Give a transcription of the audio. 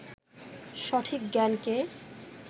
সঠিক জ্ঞানকে